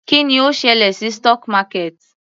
Kí ni ó ṣẹlẹ̀ sí stock market?